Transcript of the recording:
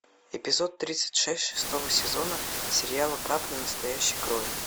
эпизод тридцать шесть шестого сезона сериала капля настоящей крови